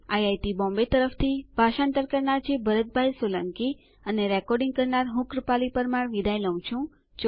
IIT Mumbai તરફથી ભાષાંતર કરનાર હું ભરત સોલંકી વિદાય લઉં છું